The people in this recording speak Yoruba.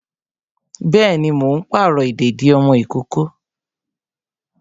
Bẹẹni, mo ń pàrọ̀ ìdèdí ọmọ ìkókó